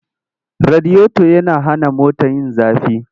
Radiyoto yana hana mota yin zafi.